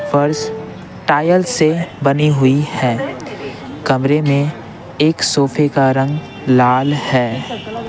फ़र्श टायल से बनी हुई है कमरे में एक सोफे का रंग लाल है।